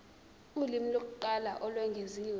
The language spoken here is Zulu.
ulimi lokuqala olwengeziwe